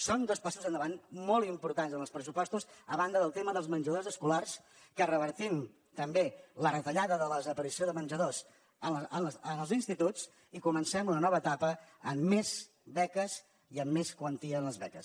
són dos passos endavant molt importants en els pressupostos a banda del tema dels menjadors escolars que revertim també la retallada de la desaparició de menjadors en els instituts i comencem una nova etapa amb més beques i amb més quantia en les beques